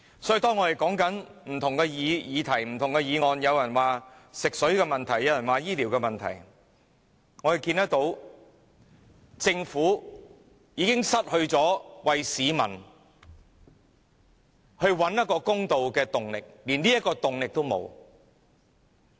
所以，當我們談到不同議題時，有議員會說食水、醫療問題，但政府已失去為市民找回公道的動力，連這樣的動力也沒有。